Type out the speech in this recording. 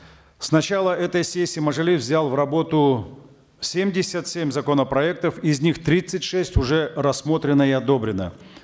с начала этой сессии мажилис взял в работу семьдесят семь законопроектов из них тридцать шесть уже рассмотрено и одобрено